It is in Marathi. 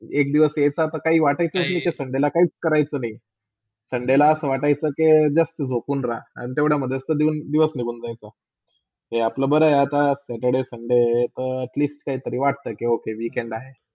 एक दिवस हे काय वाटायेचे - sunday काही करायचे नाय, sunday असे वाटायचे के जास्त झोपुन रह आणि तेवडस्यामधे तोह दिवस निघून जायचा. ते आपले बरे हाय आता saturday, sunday at least काहीतरी वाटता weekend आहे.